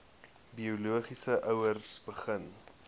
biologiese ouers begin